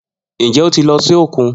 Njẹ o ti lọ si okun?